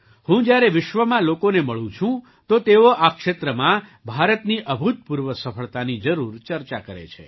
હું જ્યારે વિશ્વમાં લોકોને મળું છૂં તો તેઓ આ ક્ષેત્રમાં ભારતની અભૂતપૂર્વ સફળતાની જરૂર ચર્ચા કરે છે